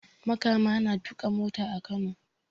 Makama yana tuka mota a Kano